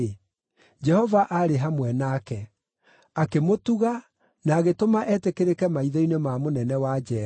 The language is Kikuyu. Jehova aarĩ hamwe nake; akĩmũtuga na agĩtũma etĩkĩrĩke maitho-inĩ ma mũnene wa njeera.